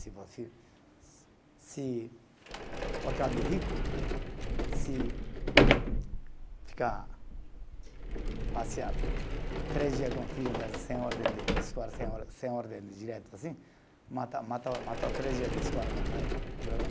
Se fosse se por causa de rico, se ficar passear três dias com o filho mesmo, sem ordem de escola, sem or, sem ordem direta, assim, mata mata, mata três dias de escola